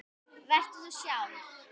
Vertu þú sjálf.